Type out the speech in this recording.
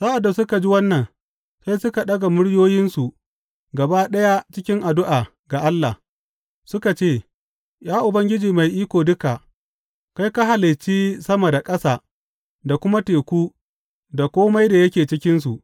Sa’ad da suka ji wannan, sai suka ɗaga muryoyinsu gaba ɗaya cikin addu’a ga Allah, suka ce, Ya Ubangiji Mai Iko Duka, kai ka halicci sama da ƙasa da kuma teku, da kome da yake cikinsu.